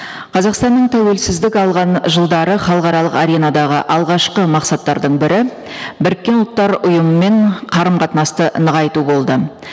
қазақстанның тәуелсіздік алған жылдары халықаралық аренадағы алғашқы мақсаттардың бірі біріккен ұлттар ұйымымен қарым қатынасты нығайту болды